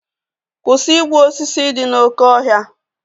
Kwụsị igbu osisi dị n'oké ọhịa!